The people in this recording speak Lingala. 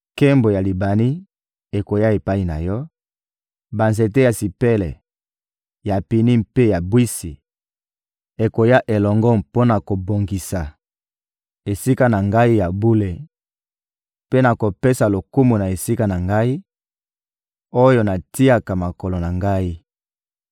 Nkembo ya Libani ekoya epai na yo, banzete ya sipele, ya pini mpe ya bwisi ekoya elongo mpo na kobongisa Esika na Ngai ya bule; mpe nakopesa lokumu na esika na Ngai, oyo natiaka makolo na Ngai.